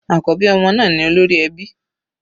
Àkọ́bí ọmọ ni olórí ẹbí.